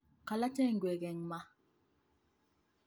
Kolocho igwek eng ma